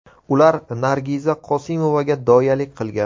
Ular Nargiza Qosimovaga doyalik qilgan.